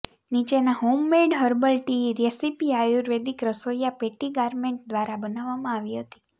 નીચેના homemade herbal tea recipe આયુર્વેદિક રસોઇયા પેટ્ટી ગારલેન્ડ દ્વારા બનાવવામાં આવી હતી